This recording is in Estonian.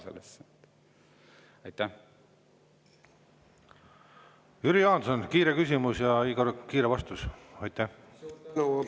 Jüri Jaanson, kiire küsimus ja, Igor, kiire vastus.